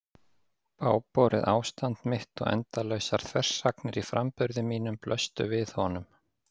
Bágborið ástand mitt og endalausar þversagnir í framburði mínum blöstu við honum.